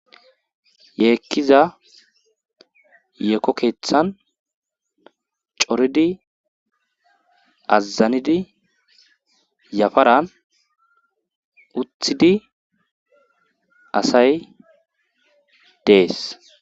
yeekkiza yeeko keeththan coridi azazanidi yafaran uthidi asay dees.